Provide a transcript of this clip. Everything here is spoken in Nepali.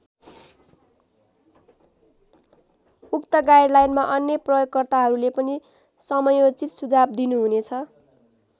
उक्त गाइडलाइनमा अन्य प्रयोगकर्ताहरूले पनि समयोचित सुझाव दिनुहुनेछ।